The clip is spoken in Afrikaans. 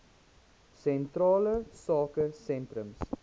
sentrale sake sentrums